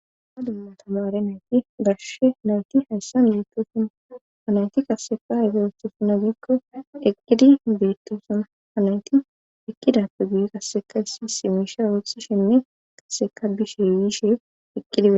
ha dumma tamare nayti garsushe nayti hayssan beettosuna anayti kasseka ega wettosuna biikko eqqidi beettosuna anayti ekkidappe guye kasseka issi isi meisha ootha shenne qasseka biishe wiishe eqqidie